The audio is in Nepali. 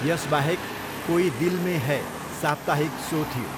यसबाहेक, कोई दिल में है साप्ताहिक सो थियो।